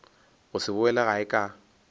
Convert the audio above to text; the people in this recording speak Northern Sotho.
go se boele gae ka